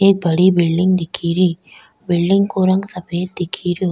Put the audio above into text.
एक बड़ी बिलडिंग दिख री बिलडिंग को रंग सफेद दिख रो।